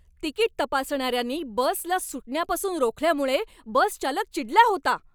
Ticket तपासणाऱ्यांनी बसला सुटण्यापासून रोखल्यामुळे बसचालक चिडला होता.